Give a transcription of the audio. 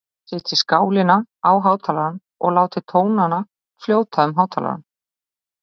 Setjið skálina á hátalarann og látið tónana fljóta um hátalarann.